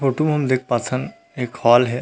Photo म हम देख पाथन एक हाल हे।